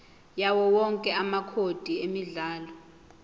yawowonke amacode emidlalo